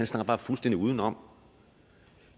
snakker fuldstændig udenom